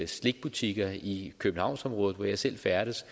slikbutikker i københavnsområdet hvor jeg selv færdes